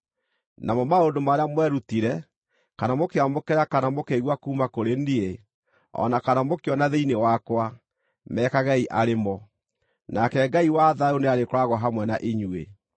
Namo maũndũ marĩa mwerutire, kana mũkĩamũkĩra kana mũkĩigua kuuma kũrĩ niĩ, o na kana mũkĩona thĩinĩ wakwa, mekagei arĩ mo. Nake Ngai wa thayũ nĩarĩkoragwo hamwe na inyuĩ.